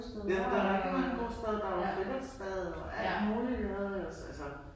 Ja der er rigtig mange gode steder. Der er friluftsbadet og alt muligt iggå altså